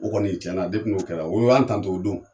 O kɔni cɛn na depi n'o kɛra o y'an tanto o don.